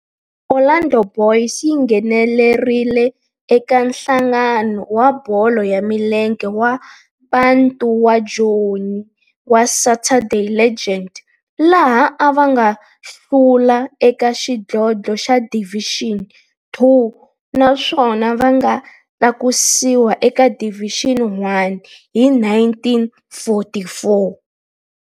Orlando Boys yi nghenelerile eka Nhlangano wa Bolo ya Milenge wa Bantu wa Joni wa Saturday League, laha va nga hlula eka xidlodlo xa Division Two naswona va nga tlakusiwa eka Division One hi 1944.